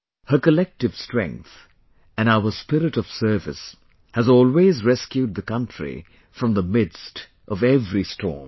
Her collective strength and our spirit of service has always rescued the country from the midst of every storm